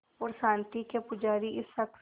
और शांति के पुजारी इस शख़्स